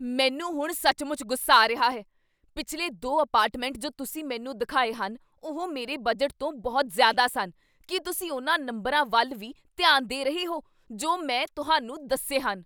ਮੈਨੂੰ ਹੁਣ ਸੱਚਮੁੱਚ ਗੁੱਸਾ ਆ ਰਿਹਾ ਹੈ। ਪਿਛਲੇ ਦੋ ਅਪਾਰਟਮੈਂਟ ਜੋ ਤੁਸੀਂ ਮੈਨੂੰ ਦਿਖਾਏ ਹਨ ਉਹ ਮੇਰੇ ਬਜਟ ਤੋਂ ਬਹੁਤ ਜ਼ਿਆਦਾ ਸਨ। ਕੀ ਤੁਸੀਂ ਉਨ੍ਹਾਂ ਨੰਬਰਾਂ ਵੱਲ ਵੀ ਧਿਆਨ ਦੇ ਰਹੇ ਹੋ ਜੋ ਮੈਂ ਤੁਹਾਨੂੰ ਦੱਸੇ ਹਨ?